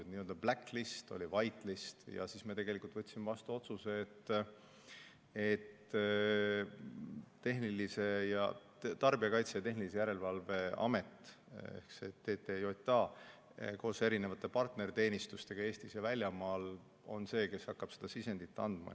Oli n-ö black list ja oli white list, aga siis me võtsime vastu otsuse, et Tarbijakaitse ja Tehnilise Järelevalve Amet ehk TTJA koos erinevate partnerteenistustega Eestis ja välismaal on see, kes hakkab sisendit andma.